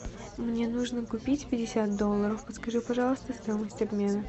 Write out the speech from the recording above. мне нужно купить пятьдесят долларов подскажи пожалуйста стоимость обмена